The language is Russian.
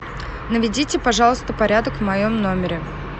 наведите пожалуйста порядок в моем номере